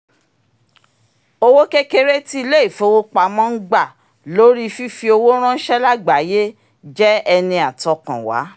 owó kékeré tí ilé-ifowopamọ́ ń gba lórí fífi owó ránṣẹ́ lágbàáyé jẹ́ ẹni àtọkànwá